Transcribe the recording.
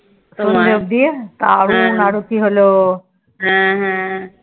সন্ধে অব্দি দারুন আরতি হলো